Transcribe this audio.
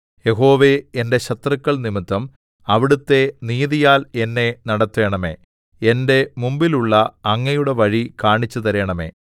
യഹോവേ എന്റെ ശത്രുക്കൾ നിമിത്തം അവിടുത്തെ നീതിയാൽ എന്നെ നടത്തേണമേ എന്റെ മുമ്പിലുള്ള അങ്ങയുടെ വഴി കാണിച്ചുതരേണമേ